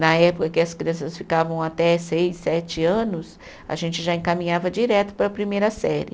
Na época que as crianças ficavam até seis, sete anos, a gente já encaminhava direto para a primeira série.